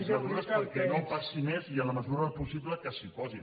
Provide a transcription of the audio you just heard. mesures perquè no passi més i en la mesura del possible que s’hi posin